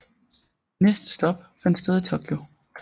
Næste stop fandt sted i Tokyo